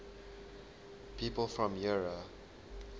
people from eure